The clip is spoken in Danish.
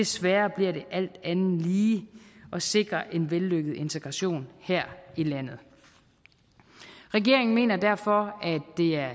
sværere bliver det alt andet lige at sikre en vellykket integration her i landet regeringen mener derfor